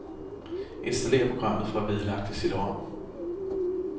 Installér programmet fra vedlagte cd-rom.